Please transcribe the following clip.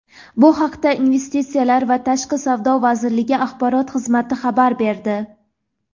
Bu haqda Investitsiyalar va tashqi savdo vazirligi axborot xizmati xabar berdi.